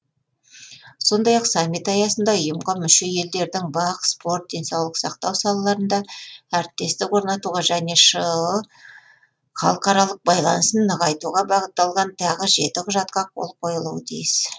сондай ақ саммит аясында ұйымға мүше елдердің бақ спорт денсаулық сақтау салаларында әріптестік орнатуға және шыұ халықаралық байланысын нығайтуға бағытталған тағы жеті құжатқа қол қойылуы тиіс